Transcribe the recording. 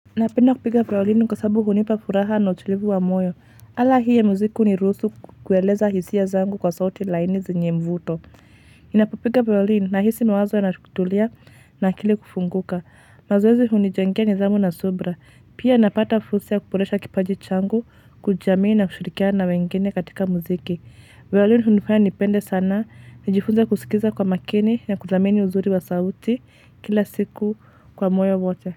Napenda kupiga wawalini kwa sababu hunipa furaha na utulivu wa moyo. Ala hii ya muziki hunirusu kueleza hisia zangu kwa sauti laini zenye mvuto. Inapopiga vayolini nahisi mawazo yana kutulia na akili kufunguka. Mazoezi hunijengea nidhamu na subira. Pia napata fursa ya kuboresha kipaji changu, kujamini na kushirikiana na wengine katika muziki. Vayolini hunifanya nipende sana. Najifunza kusikiza kwa makini na kudhamini uzuri wa sauti kila siku kwa moyo wote.